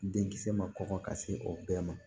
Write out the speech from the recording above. Denkisɛ ma kɔngɔ ka se o bɛɛ ma